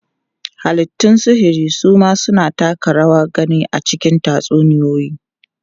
Halittun sihiri su ma suna taka rawar gani a cikin tatsuniyoyi.